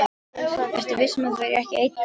Ertu viss um að þú viljir ekki einn kaldan?